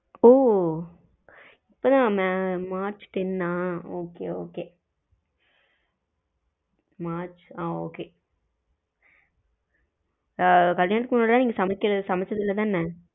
ஓ இப்போ தான March ten அ okay okay மார்ச் ஆ okay ஆ கல்யாணத்துக்கு முன்னாடி சமச்சது இல்ல தான?